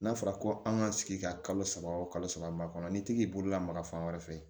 N'a fɔra ko an ka sigi ka kalo saba o kalo saba kɔnɔ n'i tɛgɛ bololama fan wɛrɛ fɛ